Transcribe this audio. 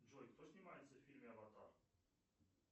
джой кто снимается в фильме аватар